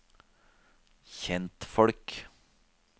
kjentfolk